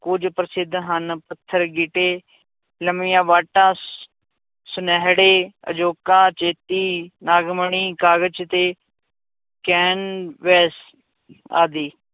ਕੁੱਝ ਪ੍ਰਸਿੱਧ ਹਨ, ਪੱਥਰ ਗਿੱਟੇ, ਲੰਮੀਆਂ ਵਾਟਾਂ ਸੁਨਿਹੜੇ, ਅਜੋਕਾ ਚੇਤੀ, ਨਾਗਮਣੀ, ਕਾਗਜ਼ ਤੇ ਕੈਨਵਸ ਆਦਿ